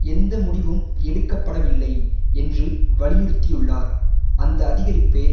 எந்த முடிவும் எடுக்க படவில்லை என்று வலியுறுத்தியுள்ளார் அந்த அதிகரிப்பே